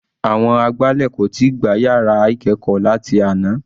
Àwọn agbálẹ̀ kò tíì gbá yàrá ìkẹ́ẹ̀kọ́ láti àná.